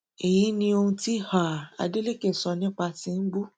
èyí ni ohun tí um adeleke sọ nípa tìǹbù